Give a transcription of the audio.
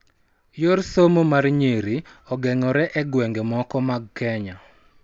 Yor somo mar nyiri ogeng'ore e gwenge moko mag Kenya